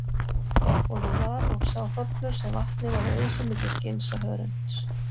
Honum var og sá hrollur sem vatni væri ausið milli skinns og hörunds.